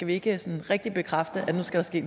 vi ikke sådan rigtig bekræfte at nu skal skal